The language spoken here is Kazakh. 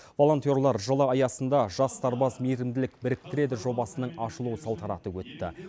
волонтерлар жылы аясында жас сарбаз мейірімділік біріктіреді жобасының ашылу салтанаты өтті